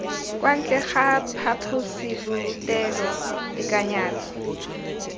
kwa ntle ga phaposiborutelo tekanyetso